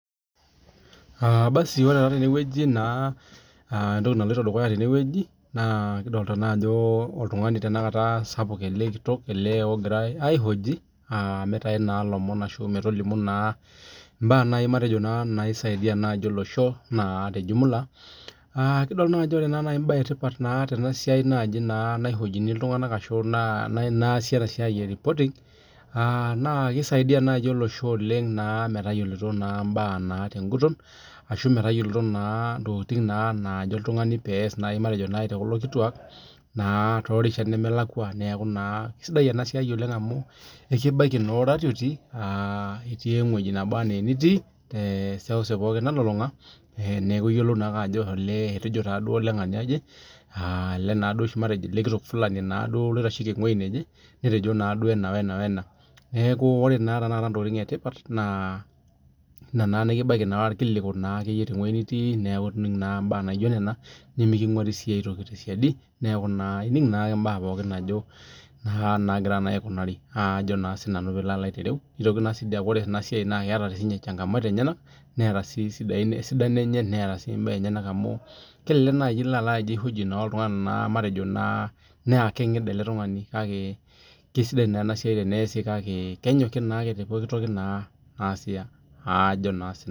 Ore taa tenewueji entoki naloito dukuya tenewueji naa ekidolita Ajo oltung'ani ele sapuk ele kitok ogirai aihoji mitau naa loomon ashu mbaa nisaidia olosho matejo tee jumla kidol naa Ajo ore mbae etipat Tena naihojii iltung'ana ashu naasi ena siai eripotig naa keisaidia naaji olosho netayiolito mbaa teguton ashu metayiolo mbaa nejo oltung'ani naajo oltung'ani peas tekulo kituak neeku kaisidai ena siai amu ekibaiki naa oratiotii tewueji nebaa ena enitii tee seuseu pookin nalulung'a neeku eyiolou ake Ajo etejo duo olengania eji ele kitok Fulani oitasheki ewueji nejee neteji duo ena wee ena neeku ore tanakata entokitin etipat ena nikibaiki irkiliku tewueji nitii neeku enig mbaa naijio Nena niminguarii sii aitoki tee sidai neeku enig naake mbaa pookin naa nagira aikunari nitoki sii aaku ore enasiai keeta changamoto enyena netaa sii esidano enye netaa mbaa enyena amu kelelek ijio aloo aihoji oltung'ani mbaa enyena naa kengida ele tung'ani kake kaisidai ena siai teneasii neeku kenyokii naake